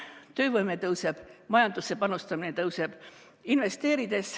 Töövõime tõuseb, majandusse panustamine tõuseb.